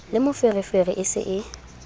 le moferefere e se e